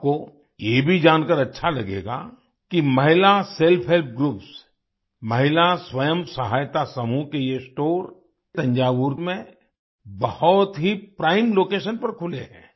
आपको ये भी जानकार अच्छा लगेगा कि महिला सेल्फहेल्प ग्रुप्स महिला स्वयं सहायता समूह के ये स्टोर थंजावुर में बहुत ही प्राइम लोकेशन पर खुले हैं